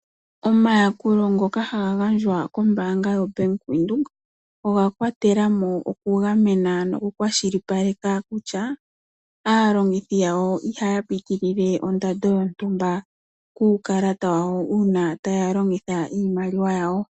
Omayakulo ngoka hagangandjwa kombanga yo Bank Widheok oga kwatelamo oku ga mena noku kwashilipaleka kutya alongithi yawo Iha pitilile oondando yontumba kukalata wawo una taya longitha iimaliwa yawo.